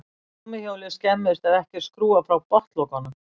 Gúmmíhjólið skemmist ef ekki er skrúfað frá botnlokunum.